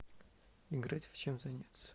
играть в чем заняться